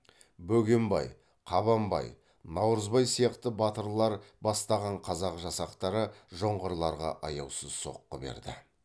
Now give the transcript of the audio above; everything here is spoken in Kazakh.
бөгенбай қабанбай наурызбай сияқты батырлар бастаған қазақ жасақтары жоңғарларға аяусыз соққы берді